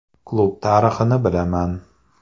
Klub tarixini bilaman.